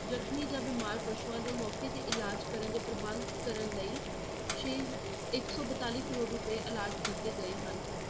ਜ਼ਖਮੀ ਜਾਂ ਬਿਮਾਰ ਪਸੂਆਂ ਦਾ ਮੌਕੇ ਤੇ ਇਲਾਜ਼ ਕਰਨ ਦੇ ਪ੍ਰਬੰਧ ਕਰਨ ਲਈ ਛੇ ਇੱਕ ਸੌ ਬਤਾਲੀ ਕਰੌੜ ਰੁਪਏ allot ਕੀਤੇ ਗਏ ਹਨ।